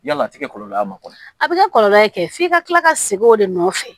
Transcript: Yala a ti kɛ kɔlɔlɔ ye a ma kɔ ye a bɛ kɛ kɔlɔlɔ ye kɛ f'i ka kila ka segin o de nɔfɛ